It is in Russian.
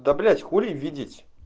да блять хули видеть